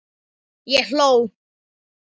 Ég hló.